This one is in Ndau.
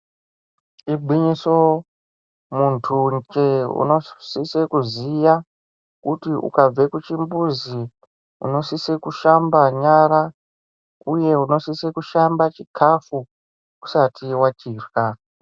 Igwinyiso ,muntunje unosise kuziya kuti ukabve kuchimbuzi ,unosise kushamba nyara ,uye unosise kushamba chikhafu ,usati wachirya.